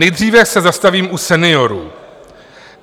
Nejdříve se zastavím u seniorů.